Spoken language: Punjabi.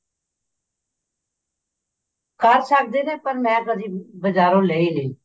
ਕਰ ਸਕਦੇ ਨੇ ਪਰ ਮੈਂ ਕਦੀ ਬਜਾਰੋਂ ਲਈ ਨੀ